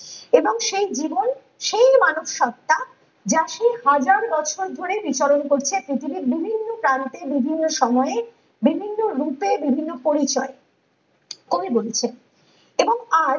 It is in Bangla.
এবং সেই জীবন সেই মানব সত্তা যা সে হাজার বছর ধরে বিচরণ করছে পৃথিবীর বিভিন্ন প্রান্তে বিভিন্ন সময়ে বিভিন্ন রূপে বিভিন্ন পরিচয়ে কবি বলেছেন এবং আজ